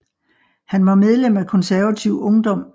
Han var medlem af Konservativ Ungdom